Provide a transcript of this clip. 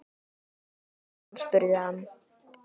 Árum saman? spurði hann.